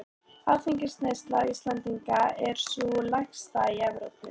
Áfengisneysla Íslendinga er sú lægsta í Evrópu.